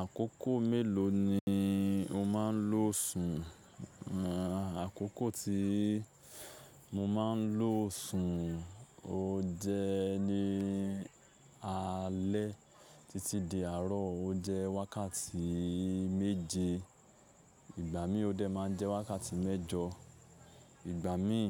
Àkókò mélòó ni o máa ń lo sùn? Àkókò tí mo máa ń lo sùn ó jẹ́ ní alẹ́ títí di àárọ̀ ó jẹ́ wákàtí méje, ìgbà mi ó dẹ̀ máa n jẹ́ wákàtí mẹ́jọ, ìgbà mi